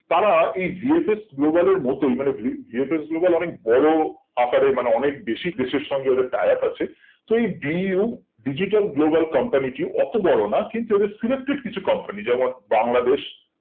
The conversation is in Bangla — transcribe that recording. তারা এই VFS Global এর মতোই মানে দুই VFS Global অনেক বড়ো আকারের মানে অনেক বেসিক দেশের সঙ্গে ওদের tie up আছে তো এই DU Digital Global company টি অতো বড়ো না কিন্তু ওদের selected কিছু company যেমন বাংলাদেশ